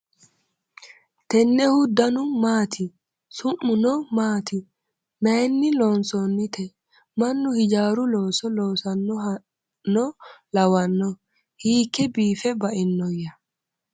tennehu danu maati ? su'muno maati ? maayinni haa'noonnite ? mannu hijaaru looso loosannohano lawanno ? hiikke biifa bainoyya ?